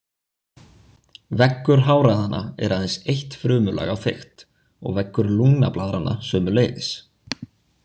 Veggur háræðanna er aðeins eitt frumulag á þykkt og veggur lungnablaðranna sömuleiðis.